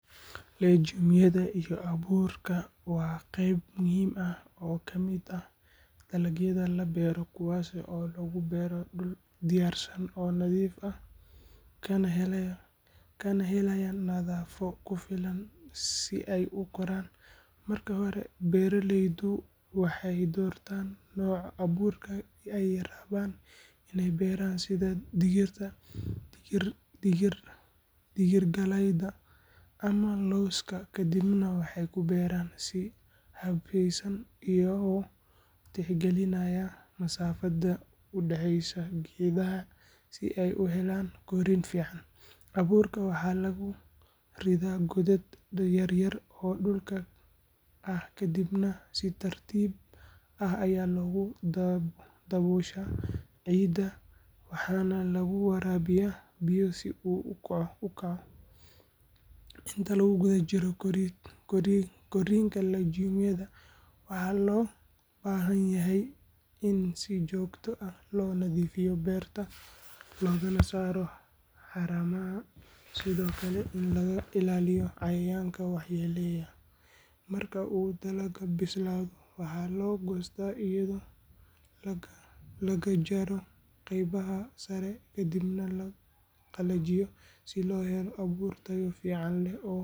Legume-yada iyo abuurka waa qayb muhiim ah oo ka mid ah dalagyada la beero kuwaas oo lagu beero dhul diyaarsan oo nadiif ah kana helaya nafaqo ku filan si ay u koraan. Marka hore beeraleydu waxay doortaan nooca abuurka ay rabaan inay beeraan sida digirta, digirgalayda ama lowska kadibna waxay ku beeraan si habeysan iyagoo tixgelinaya masaafada u dhexeysa geedaha si ay u helaan korriin fiican. Abuurka waxaa lagu ridaa godad yar yar oo dhulka ah kadibna si tartiib ah ayaa loogu dabooshaa ciidda waxaana lagu waraabiyaa biyo si uu u kaco. Inta lagu jiro korriinka legume-yada waxaa loo baahan yahay in si joogto ah loo nadiifiyo beerta loogana saaro haramaha sidoo kale in laga ilaaliyo cayayaanka waxyeelleeya. Marka uu dalagga bislaado waxaa la goostaa iyadoo laga jarayo qaybaha sare kadibna la qalajiyo si loo helo abuur tayo fiican leh.